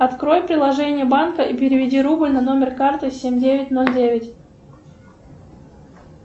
открой приложение банка и переведи рубль на номер карты семь девять ноль девять